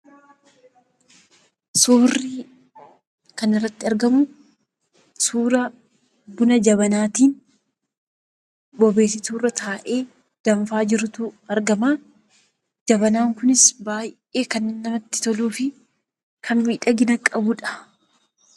Suurri kanarratti argamu suuraa buna jabanaati. Bobeessituu irra taa'ee danfaa jirutu argama. Jabanan kunis baay'ee kan namatti toluu fikan miidhagina qabudha.